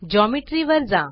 geometry वर जा